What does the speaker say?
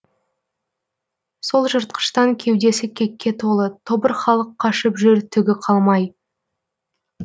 солжыртқыштан кеудесі кекке толы тобырхалық қашып жүр түгі қалмай